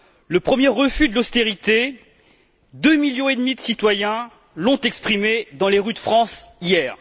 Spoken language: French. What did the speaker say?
Le premier refus de l'austérité, deux millions et demi de citoyens l'ont exprimé dans les rues de France hier.